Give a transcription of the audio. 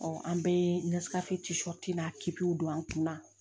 an bɛɛ don an kunna